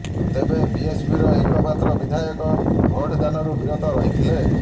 ତେବେ ବିଏସପିର ଏକ ମାତ୍ର ବିଧାୟକ ଭୋଟ ଦାନରୁ ବିରତ ରହିଥିଲେ